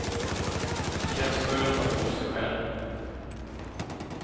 Det känns skönt att rå sig själv.